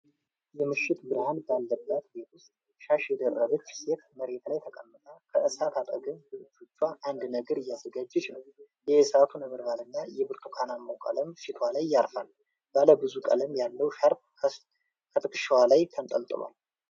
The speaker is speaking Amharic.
የምሽት ብርሃን ባለበት ቤት ውስጥ፣ ሻሽ የደረበች ሴት መሬት ላይ ተቀምጣ ከእሳት አጠገብ በእጆቿ አንድ ነገር እያዘጋጀች ነው። የእሳቱ ነበልባል እና የብርቱካናማው ቀለም ፊቷ ላይ ያርፋል። ባለ ብዙ ቀለም ያለው ሻርፕ ከትከሻዋ ላይ ተንጠልጥሏል።